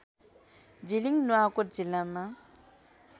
जिलिङ नुवाकोट जिल्लामा